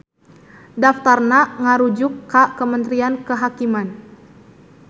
Daftarna ngarujuk ka Kementrian Kehakiman.